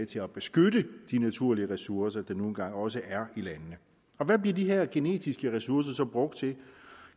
til at beskytte de naturlige ressourcer der nu engang også er i landene hvad bliver de her genetiske ressourcer så brugt til